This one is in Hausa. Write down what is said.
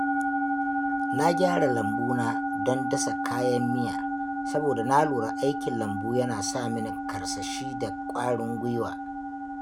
Na gyara lambu na don dasa kayan miya, saboda na lura aikin lambu yana sa mini karsashi da ƙwarin gwuiwa.